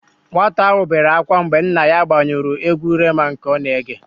Nwata áhụ̀ bere ákwá mgbe nna ya gbanyụrụ égwú Rema nke ọ na-ege.